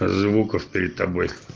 звуков перед тобой